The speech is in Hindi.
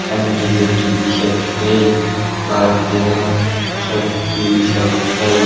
एल.जी. के टी.वी. सब छय बारा तेरा सब टी.वी. सब छय।